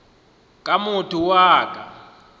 na motho yo a ka